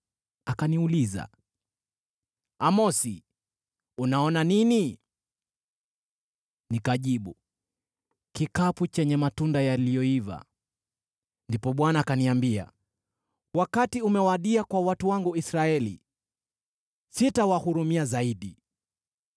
Akaniuliza, “Amosi, unaona nini?” Nikajibu, “Kikapu chenye matunda yaliyoiva.” Ndipo Bwana akaniambia, “Wakati umewadia kwa watu wangu Israeli; sitawahurumia zaidi.”